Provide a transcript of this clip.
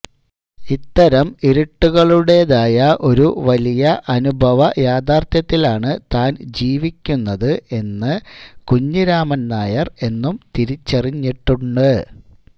ഇത്തരം ഇരുട്ടുകളുടേതായ ഒരു വലിയ അനുഭവയാഥാര്ഥ്യത്തിലാണ് താന് ജീവിക്കുന്നത് എന്ന് കുഞ്ഞിരാമന്നായര് എന്നും തിരിച്ചറിഞ്ഞിട്ടുണ്ട്